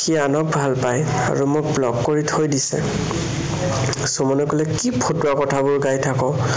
সি আনক ভালপায় আৰু মোক block কৰি থৈ দিছে। সুমনে কলে কি ফটোৱা কথাবোৰ গাই থাক?